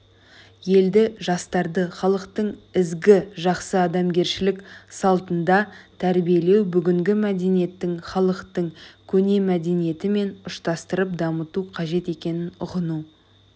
елді жастарды халықтың ізгі жақсы адамгершілік салтында тәрбиелеу бүгінгі мәдениетті халықтың көне мәдениетімен ұштастырып дамыту қажет екенін ұғыну